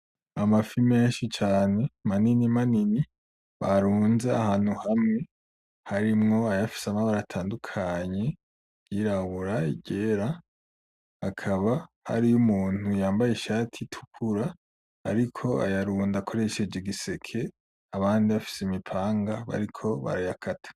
Amafi menshi cane mainini manini barunze ahantu hamwe harimwo ayafise amabara atandukanye iryirabura; iryera akaba hariyo umuntu yambaye ishati itukura ariko ayarunda akoresheje igiseke abandi bafise imipanga bariko barayakata.